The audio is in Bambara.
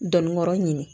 Dɔnnikɔrɔ ɲini